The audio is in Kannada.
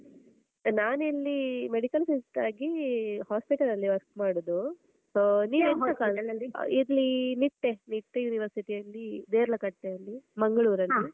ನಾನ್ ಇಲ್ಲೀ medical sister ಆಗೀ hospital ಅಲ್ಲಿ work ಮಾಡುದು. ಆಹ್ ಇಲ್ಲೀ ನಿಟ್ಟೆ, ನಿಟ್ಟೆ University ಅಲ್ಲೀ ದೇರ್ಲಕಟ್ಟೆಯಲ್ಲಿ ಮಂಗ್ಳೂರಲ್ಲಿ.